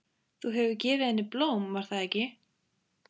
Þú hefur gefið henni blóm, var það ekki?